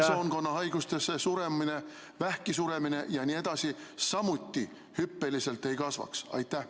... veresoonkonna haigustesse suremine, vähki suremine jne samuti hüppeliselt ei kasvaks?